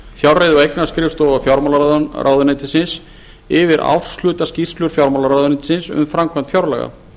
fjárreiðu og eignaskrifstofa fjármálaráðuneytisins yfir árshlutaskýrslur fjármálaráðuneytisins um framkvæmd fjárlaga